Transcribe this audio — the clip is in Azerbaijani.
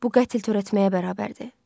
Bu qətl törətməyə bərabərdir.